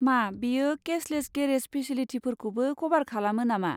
मा बेयो cashless garage फेसिलिटिखौबो क'भार खालामो नामा?